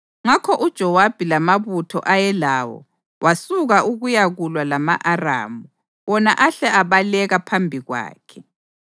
Ngakho uJowabi lamabutho ayelawo wasuka ukuyakulwa lama-Aramu, wona ahle abaleka phambi kwakhe.